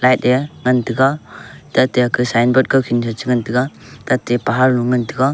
light e ngan taiga tate ake sign board kawkhin sha chengan taiga tate pahar lu ngan taiga.